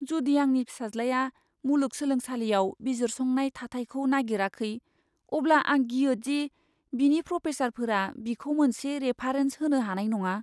जुदि आंनि फिसाज्लाया मुलुग सोलोंसालियाव बिजिरसंनाय थाथायखौ नागिराखै, अब्ला आं गियो दि बिनि प्रफेसारफोरा बिखौ मोनसे रेफारेन्स होनो हानाय नङा।